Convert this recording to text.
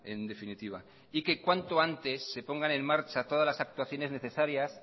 en definitiva y que cuanto antes se pongan en marcha todas las actuaciones necesarias